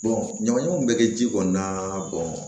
ɲamanɲamanw bɛ kɛ ji kɔnɔna